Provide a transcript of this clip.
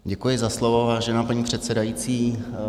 Děkuji za slovo, vážená paní předsedající.